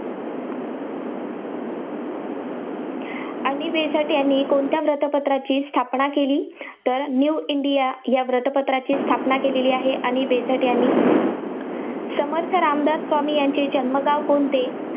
Annie Besant यांनी कोणत्या वृत्तपत्राची स्थापना केली? तर न्यू इंडिया या वृत्तपत्राची स्थापना केलेली आहे अॅनी बेझंट यांनी. समर्थ रामदास स्वामी यांचे जन्मगाव कोणते?